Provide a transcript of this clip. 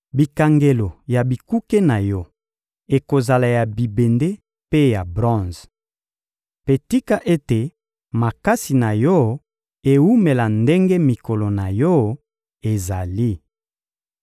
Bikangelo ya bikuke na yo ekozala ya bibende mpe ya bronze. Mpe tika ete makasi na yo ewumela ndenge mikolo na yo ezali.